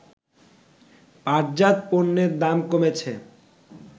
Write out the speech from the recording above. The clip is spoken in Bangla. পাটজাত পণ্যের দাম কমেছে